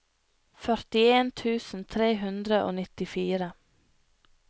førtien tusen tre hundre og nittifire